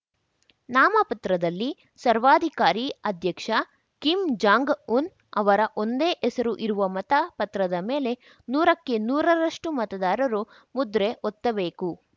ನಾಮಪತ್ರದಲ್ಲಿ ಸರ್ವಾಧಿಕಾರಿ ಅಧ್ಯಕ್ಷ Kim Jong Un ಅವರ ಒಂದೇ ಹೆಸರು ಇರುವ ಮತ ಪತ್ರದ ಮೇಲೆ ನೂರಕ್ಕೆ ನೂರರಷ್ಟು ಮತದಾರರು ಮುದ್ರೆ ಒತ್ತಬೇಕು